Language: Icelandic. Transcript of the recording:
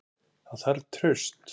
Það þarf traust.